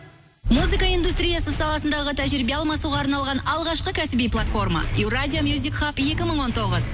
музыка индустриясы саласындағы тәжірибе алмасуға арналған алғашқы кәсіби платформа еуразия екі мың он тоғыз